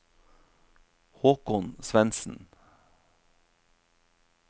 Håkon Svendsen